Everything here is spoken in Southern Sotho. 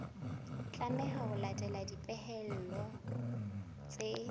tlameha ho latela dipehelo tse